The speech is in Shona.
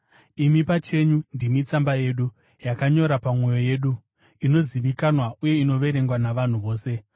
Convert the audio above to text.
Imi pachenyu ndimi tsamba yedu, yakanyora pamwoyo yedu, inozivikanwa uye inoverengwa navanhu vose.